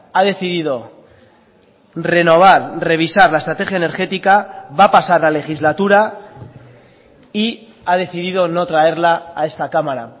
ha decidido renovar revisar la estrategia energética va a pasar la legislatura y ha decidido no traerla a esta cámara